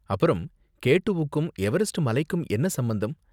அப்பறம், K two வுக்கும் Everest மலைக்கும் என்ன சம்பந்தம்